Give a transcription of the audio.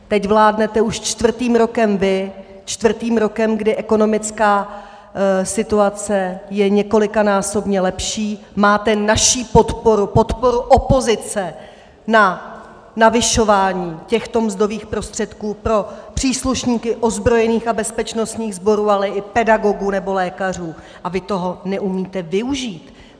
Teď vládnete už čtvrtým rokem vy, čtvrtým rokem, kdy ekonomická situace je několikanásobně lepší, máte naši podporu, podporu opozice na navyšování těchto mzdových prostředků pro příslušníky ozbrojených a bezpečnostních sborů, ale i pedagogů nebo lékařů, a vy toho neumíte využít.